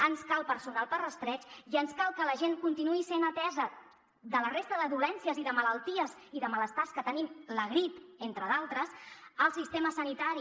ens cal personal per a rastreig i ens cal que la gent continuï sent atesa de la resta de dolències i de malalties i de malestars que tenim la grip entre d’altres al sistema sanitari